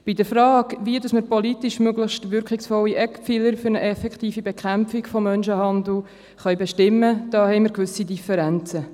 In der Frage, wie man politisch möglichst wirkungsvolle Instrumente für eine effektive Bekämpfung von Menschenhandel bestimmen könnte, bestehen gewisse Differenzen.